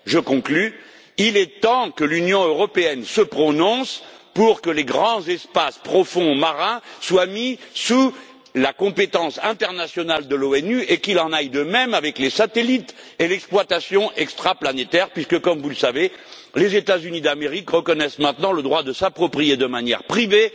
Je conclus il est temps que l'Union européenne se prononce pour que les grands espaces profonds marins soient placés sous la compétence internationale de l'ONU et qu'il en aille de même avec les satellites et l'exploitation extraplanétaire, puisque comme vous le savez les États Unis d'Amérique reconnaissent maintenant le droit de s'approprier, de manière privée,